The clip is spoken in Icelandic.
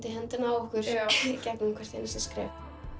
í höndina á okkur í gegnum hvert skref